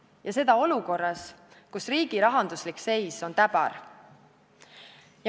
Ja seda olukorras, kus riigi rahanduslik seis on täbar.